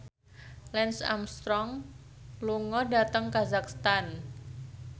Lance Armstrong lunga dhateng kazakhstan